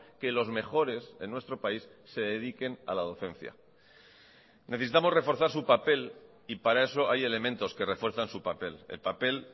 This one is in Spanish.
que los mejores en nuestro país se dediquen a la docencia necesitamos reforzar su papel y para eso hay elementos que refuerzan su papel el papel